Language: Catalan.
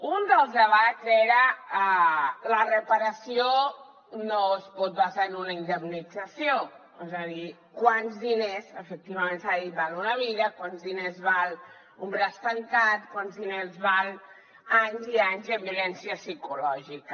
un dels debats era la reparació no es pot basar en una indemnització és a dir quants diners efectivament s’ha dit val una vida quants diners val un braç trencat quants diners valen anys i anys de violència psicològica